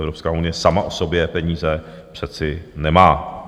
Evropská unie sama o sobě peníze přece nemá.